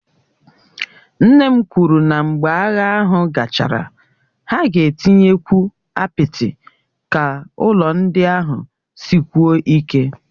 Nne m kwuru na mgbe agha ahụ gachara, ha ga-etinyekwu apịtị ka ụlọ ndị ahụ sikwuo ike